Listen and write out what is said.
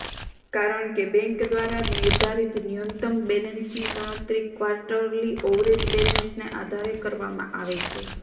કારણ કે બેન્ક દ્વારા નિર્ધારિત ન્યૂનતમ બેલેન્સની ગણતરી ક્વાર્ટરલી એવરેજ બેલેન્સને આધારે કરવામાં આવે છે